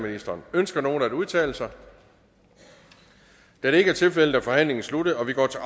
ønsker nogen at udtale sig da det ikke er tilfældet er forhandlingen sluttet og vi går til